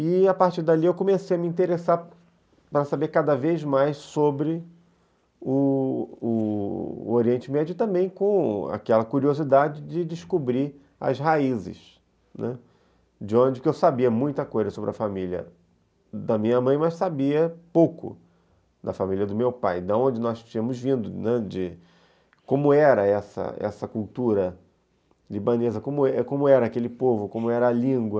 E, a partir dali, eu comecei a me interessar para saber cada vez mais sobre o o o Oriente Médio, também com aquela curiosidade de descobrir as raízes, né, de onde eu sabia muita coisa sobre a família da minha mãe, mas sabia pouco da família do meu pai, de onde nós tínhamos vindo, né, de como era essa cultura libanesa, como era aquele povo, como era a língua,